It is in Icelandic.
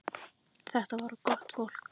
Þetta var gott fólk.